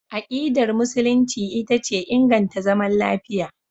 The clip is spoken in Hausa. Akidar Musulunci ita ce inganta zaman lafiya.